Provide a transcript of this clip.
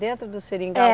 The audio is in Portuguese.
Dentro do seringal? É.